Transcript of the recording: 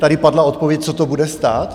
Tady padla odpověď, co to bude stát?